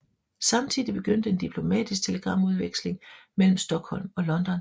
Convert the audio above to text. Samtidig begyndte en diplomatisk telegramudveksling mellem Stockholm og London